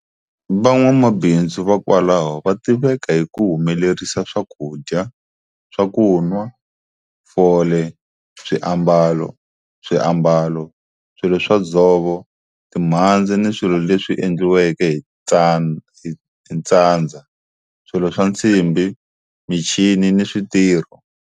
Van'wamabindzu va kwalaho va tiveka hi ku humelerisa swakudya, swakunwa, fole, swiambalo, swiambalo, swilo swa dzovo, timhandzi ni swilo leswi endliweke hi ntsandza, swilo swa nsimbi, michini ni switirho.